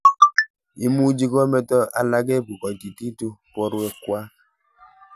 Imuchi kometo alake ipkokaikaitu porwekwak.